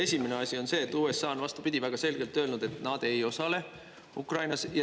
Esimene asi on see, et USA on, vastupidi, väga selgelt öelnud, et nad ei osale Ukrainas.